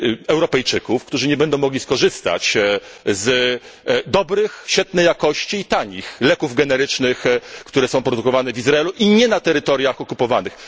Europejczyków, którzy nie będą mogli skorzystać z dobrych, świetniej jakości i tanich leków generycznych, które są produkowane w Izraelu, a nie na terytoriach okupowanych.